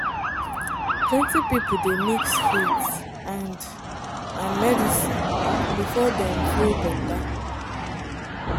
plenty people dey mix faith and and medicine before dem feel better.